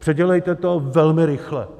Předělejte to velmi rychle.